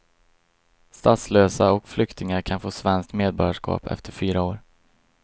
Statslösa och flyktingar kan få svenskt medborgarskap efter fyra år.